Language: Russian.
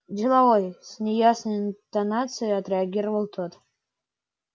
деловой с неясной интонацией отреагировал тот